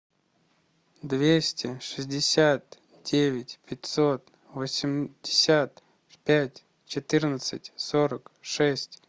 двести шестьдесят девять пятьсот восемьдесят пять четырнадцать сорок шесть